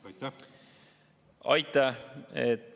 Aitäh!